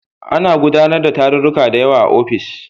Ana gudanar da tarurruka da yawa a ofis